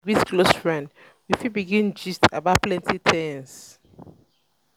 we greet close friend we fit begin gist about plenty things